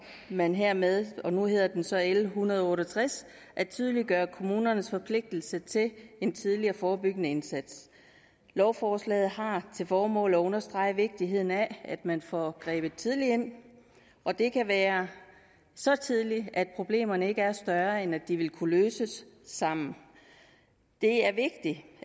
man hermed og nu hedder det så l en hundrede og otte og tres at tydeliggøre kommunernes forpligtelse til en tidlig og forebyggende indsats lovforslaget har til formål at understrege vigtigheden af at man får grebet tidligt ind og det kan være så tidligt at problemerne ikke er større end at de vil kunne løses sammen det er vigtigt